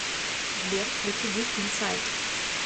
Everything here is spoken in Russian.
сбер включи дип инсайд